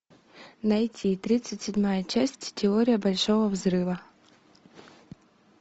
найти тридцать седьмая часть теория большого взрыва